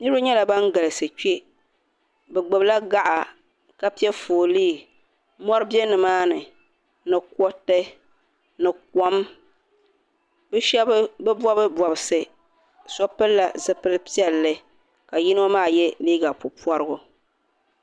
Niriba nyɛla ban galisi kpe bɛ gbibila gaɣa ka piɛ foolii mori be nimaani ni kuriti ni kom bɛ sheba bi bobi bobsi so pilila zipil'piɛlli ka yino maa ye liiga puporigu.